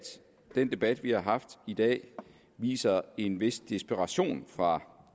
den debat vi har haft i dag viser en vis desperation fra